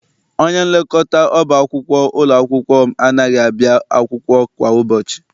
Onyenlekọta ọba akwụkwọ ụlọ akwụkwọ m anaghị abịa akwụkwọ kwa ụbọchị.